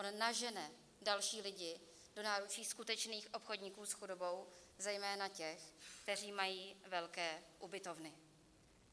On nažene další lidi do náručí skutečných obchodníků s chudobou, zejména těch, kteří mají velké ubytovny.